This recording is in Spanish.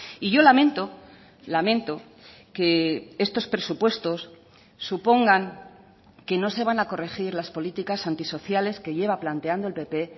y yo lamento lamento que estos presupuestos supongan que no se van a corregir las políticas antisociales que lleva planteando el pp